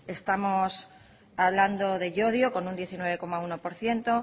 estamos hablando de llodio con un diecinueve coma uno por ciento